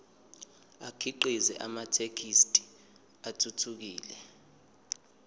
akhiqize amathekisthi athuthukile